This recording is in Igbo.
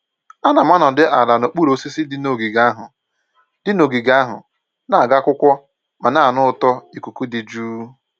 Ana m anọdị ala n'okpuru osisi dị n'ogige ahụ, dị n'ogige ahụ, na-agụ akwụkwọ ma na-anụ ụtọ ikuku dị jụụ